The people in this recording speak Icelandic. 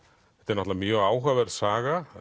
náttúrulega mjög áhugaverð saga